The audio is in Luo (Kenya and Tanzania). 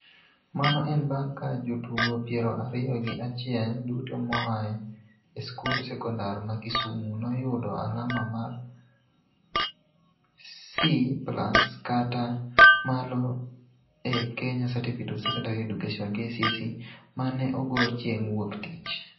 Mano en bang' ka jotugo piero ariyo gi achiel duto moa e skund sekondar ma Kisumu noyudo alama mar C+ kata malo e Kenya Certificate of Secondary Education (KCSE) ma ne ogol chieng' Wuok Tich